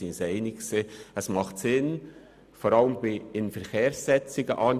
Wir waren uns einig, dass es vor allem bei Inverkehrsetzungen Sinn macht.